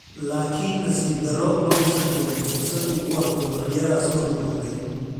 Laakiin nasiib darro, ma uusan helin fursad uu ku arko riyadaas oo rumowday.